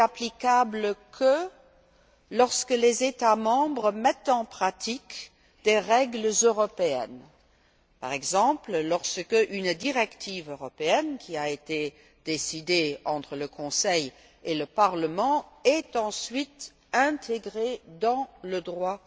Elle n'est applicable que lorsque les États membres mettent en pratique des règles européennes, par exemple lorsqu'une directive européenne, qui a été décidée entre le Conseil et le Parlement, est ensuite intégrée dans le droit